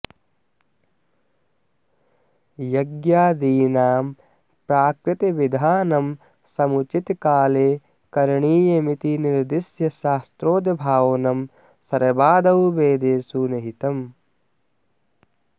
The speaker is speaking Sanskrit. यज्ञादीनां प्राकृतविधानं समुचितकाले करणीयमिति निर्द्दिश्य शास्त्रोद्भावनं सर्वादौ वेदेषु निहितम्